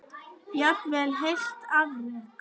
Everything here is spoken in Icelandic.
Jafnvel heilt afrek?